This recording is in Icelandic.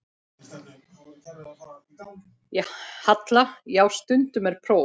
Halla: Já, stundum er próf.